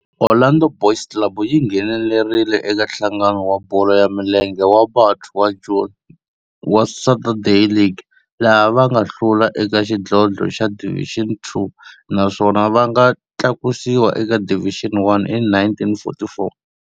Orlando Boys Club yi nghenelerile eka Nhlangano wa Bolo ya Milenge wa Bantu wa Joni wa Saturday League, laha va nga hlula eka xidlodlo xa Division Two naswona va nga tlakusiwa eka Division One hi 1944.